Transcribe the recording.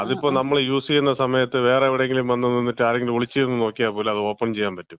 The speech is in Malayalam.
അതിപ്പം നമ്മൾ യൂസ് ചെയ്യുന്ന സമയത്ത് വേറെ എവിടെങ്കിലും വന്ന് നിന്നിട്ട് ആരെങ്കിലും ഒളിച്ചിരുന്ന് നോക്കിയാൽ പോലും അത് ഓപ്പൺ ചെയ്യാൻ പറ്റും.